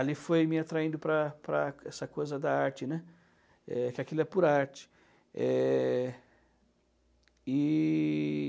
Ali foi me atraindo para para essa coisa da arte, né, é, que aquilo é pura arte, né. E...